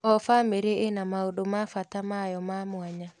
O bamĩrĩ ĩna maũndũ ma bata mayo ma mwanya.